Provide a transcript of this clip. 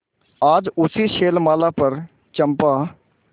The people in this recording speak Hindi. आज उसी शैलमाला पर चंपा